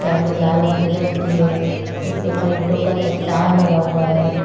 टाली लाल और हरे रंग की है इसके ऊपर ईंटों का चट्टान लगा हुआ है।